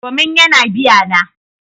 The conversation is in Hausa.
Domin yana biya na.